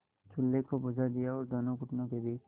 चूल्हे को बुझा दिया और दोनों घुटनों के बीच